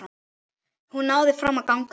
Hún náði fram að ganga.